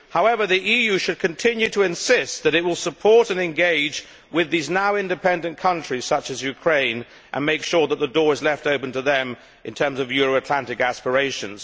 However, the EU should continue to insist that it will support and engage with these now independent countries such as Ukraine, and make sure that the door is left open to them in terms of Euro Atlantic aspirations.